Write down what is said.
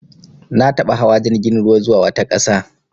Na taɓa hawa jirgin ruwa zuwa wata ƙasa.